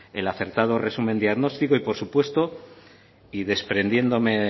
el acertado resumen diagnóstico y por supuesto y desprendiéndome